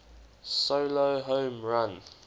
solo home run